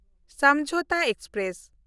Samjhauta express